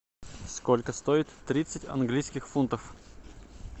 сколько стоит тридцать английских фунтов